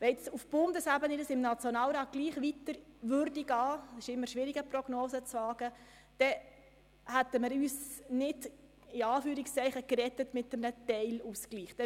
Wenn dieses Anliegen auf Bundesebene auch im Nationalrat auf Unterstützung stösst – Prognosen sind stets schwierig –, würden wir uns mit einem Teilausgleich nicht «retten».